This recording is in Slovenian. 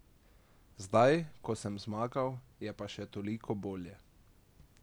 Zdaj, ko sem zmagal, je pa še toliko bolje.